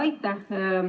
Aitäh!